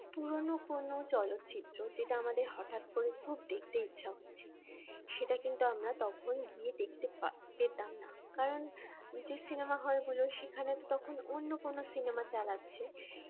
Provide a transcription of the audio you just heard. পুরনো কোন চলচ্চিত্র যেটা আমাদের হঠাৎ করে খুব দেখতে ইচ্ছা হচ্ছে সেটা কিন্তু আমরা তখন গিয়ে দেখতে পেতাম না কারণ যে সিনেমা হল গুলো সেখানে তো তখন অন্য কোন সিনেমা চালাচ্ছে